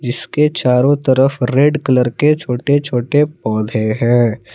जिसके चारों तरफ रेड कलर के छोटे छोटे पौधे हैं।